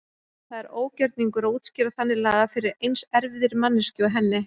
Það er ógjörningur að útskýra þannig lagað fyrir eins erfiðri manneskju og henni.